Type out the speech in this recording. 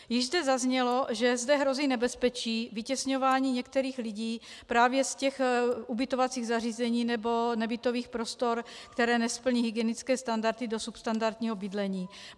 Již zde zaznělo, že zde hrozí nebezpečí vytěsňování některých lidí právě z těch ubytovacích zařízení nebo nebytových prostor, které nesplní hygienické standardy dosud standardního bydlení.